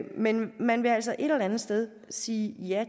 men man vil altså et eller andet sted sige ja